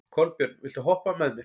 Kolbjörn, viltu hoppa með mér?